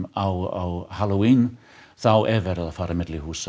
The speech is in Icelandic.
á halloween þá er verið að fara á milli húsa